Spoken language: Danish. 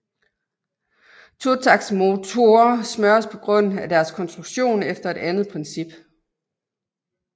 Totaktsmotorer smøres på grund af deres konstruktion efter et andet princip